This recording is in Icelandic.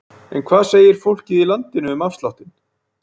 En hvað segir fólkið í landinu um afsláttinn?